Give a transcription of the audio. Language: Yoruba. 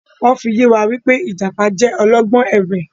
Wọn fi yẹ wá wí pé Ìjàpá jẹ́ ọlọ́gbọ́n ẹ̀wẹ̀